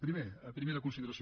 primer primera consideració